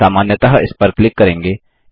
तो हम सामान्यतः इस पर क्लिक करेंगे